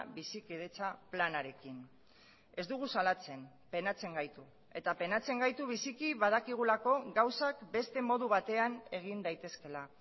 bizikidetza planarekin ez dugu salatzen penatzen gaitu eta penatzen gaitu biziki badakigulako gauzak beste modu batean egin daitezkeela